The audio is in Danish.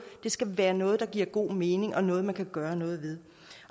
skal være noget der giver god mening og noget man kan gøre noget ved